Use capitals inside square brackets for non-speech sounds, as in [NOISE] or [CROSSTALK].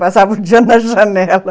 Passava [LAUGHS] o dia na janela.